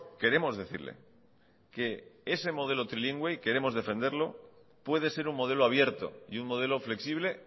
queremos decirle que ese modelo trilingüe queremos defenderlo puede ser un modelo abierto y un modelo flexible